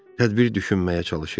Tədbir düşünməyə çalışırdı.